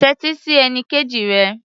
Tẹ́tí sí ẹnikejì rẹ.